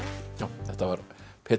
þetta var